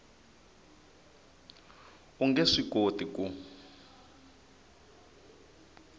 u nge swi koti ku